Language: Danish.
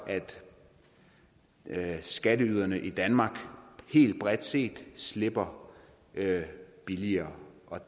at skatteyderne i danmark helt bredt set slipper billigere